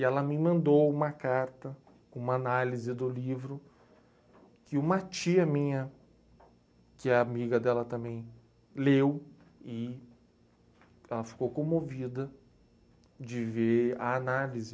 E ela me mandou uma carta, uma análise do livro, que uma tia minha, que é amiga dela também, leu e ela ficou comovida de ver a análise.